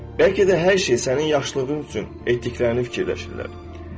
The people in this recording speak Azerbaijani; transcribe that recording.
Bəlkə də hər şey sənin yaxşılığın üçün etdiklərini fikirləşirlər.